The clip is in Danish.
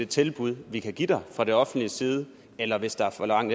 tilbud vi kan give dig fra det offentliges side eller hvis der er for lang